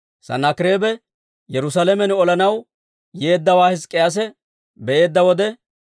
Sanaakireebe Yerusaalamen olanaw yeeddawaa Hizk'k'iyaase be'eedda wode,